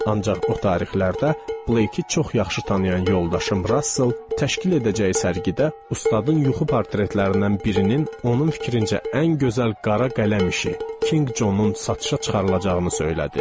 Ancaq o tarixlərdə Blake-i çox yaxşı tanıyan yoldaşım Russell təşkil edəcəyi sərgidə ustadın yuxu portretlərindən birinin onun fikrincə ən gözəl qara qələm işi King Johnun satışa çıxarılacağını söylədi.